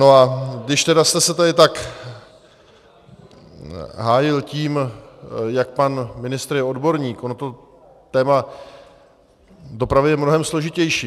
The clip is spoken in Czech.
No a když tedy jste se tady tak hájil tím, jak pan ministr je odborník, ono to téma dopravy je mnohem složitější.